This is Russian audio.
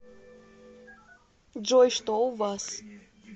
джой что у вас